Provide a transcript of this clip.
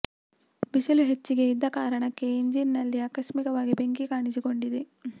ಬಿಸಿಲು ಹೆಚ್ಚಿಗೆ ಇದ್ದ ಕಾರಣಕ್ಕೆ ಇಂಜಿನ್ ನಲ್ಲಿ ಆಕಸ್ಮಿಕವಾಗಿ ಬೆಂಕಿ ಕಾಣಿಸಿಕೊಂಡಿದೆ